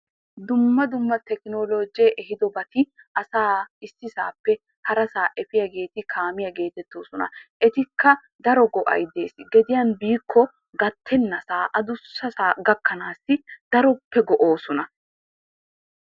Dumma dumma tekinoloojjee ehiidobati asaa issisaappe harasaa efiyageeti kaamiya geetettoosona. Etikka daro go'ay dees. Gediyan biikko gattennasaa, adussasaa gakkanaassi daroppe go'oosona.